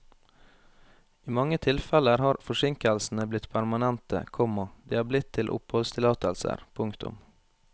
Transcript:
I mange tilfeller har forsinkelsene blitt permanente, komma de er blitt til oppholdstillatelser. punktum